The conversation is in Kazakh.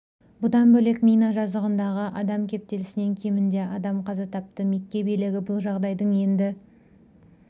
бұдан бөлек мина жазығындағы адам кептелісінен кемінде адам қаза тапты мекке билігі бұл жағдайдың енді